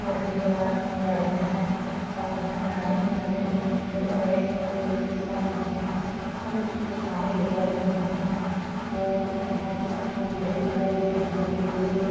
four wheeler गाड़ियां है और किनारे-किनारे में बड़े-बड़े बिल्डिंग बने हुए है कुछ दुकाने भी लगी हुइ है और यहाँ पे खम्बे दिखई दे रहे है बिजली के--